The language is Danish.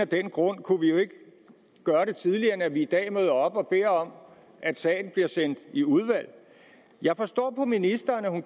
af den grund kunne vi jo ikke gøre det tidligere end at vi i dag møder op og beder om at sagen bliver sendt i udvalg jeg forstår på ministeren at hun